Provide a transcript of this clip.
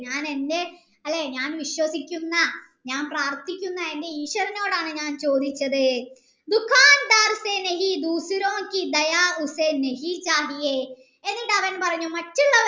ഞാൻ എൻ്റെ അല്ലെ ഞാൻ വിശ്വസിക്കുന്ന ഞാൻ പ്രാർത്ഥിക്കുന്ന എൻ്റെ ഈശ്വരനോടാണ് ഞാൻ ചോദിച്ചത് എന്നിട് അവൻ പറഞ്ഞു മറ്റുള്ള